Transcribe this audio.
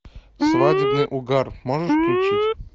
свадебный угар можешь включить